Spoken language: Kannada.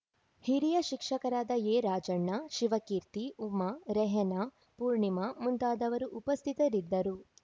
ಹಿರಿಯ ಶಿಕ್ಷಕರಾದ ಎರಾಜಣ್ಣ ಶಿವಕೀರ್ತಿ ಉಮಾ ರೆಹನಾ ಪೂರ್ಣಿಮಾ ಮುಂತಾದವರು ಉಪಸ್ಥಿತರಿದ್ದರು